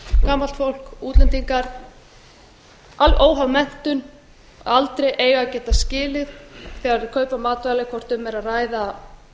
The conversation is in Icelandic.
gamalt fólk útlendingar óháð menntun og aldri eiga að geta skilið þegar þau kaupa matvæli hvort um er að ræða